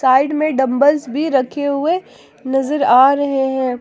Side में dumbbells भी रखे हुए नजर आ रहे हैं।